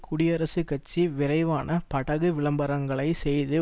குடியரசுக் கட்சி விரைவான படகு விளம்பரங்களை செய்து